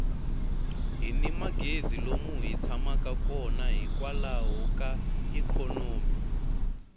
hini magezi lomu hi tshamaka kona hikwalaho ka ikhonomi